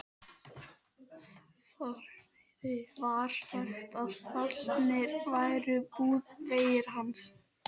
Þorsteini var sagt að fallnir væri búðarveggir hans.